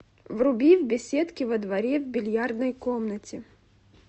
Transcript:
вруби в беседке во дворе в бильярдной комнате